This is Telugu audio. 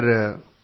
అవును సర్